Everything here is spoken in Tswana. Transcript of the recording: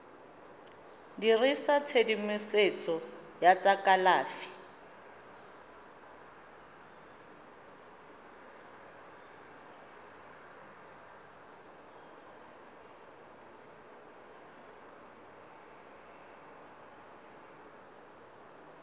dirisa tshedimosetso ya tsa kalafi